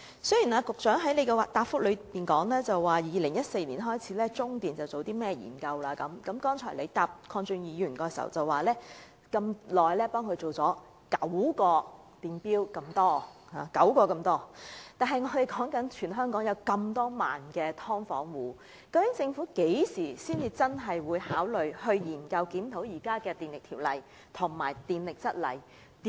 雖然局長在主體答覆說自2014年開始，中電已進行了一些研究，他剛才回答鄺俊宇議員時又表示已為有關租戶安裝了9個獨立電錶之多，但全港有數以萬計的"劏房"租戶，究竟政府何時才會考慮檢討現行的《電力條例》及《供電則例》？